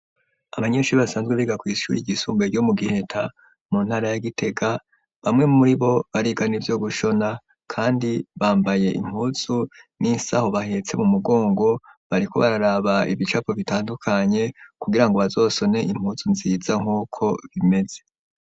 Abanyeshuri basanzwe biga kw' ishuri ryisumbuye ryo mu giheta, mu ntara ya gitega, bamwe muri bo bariga n' ivyo gushona, kandi bambaye impuzu n'isaho bahetse mu mugongo, bariko bararaba ibicapo bitandukanye kugira ngo bazosone impuzu nziza nk'uko bimeze.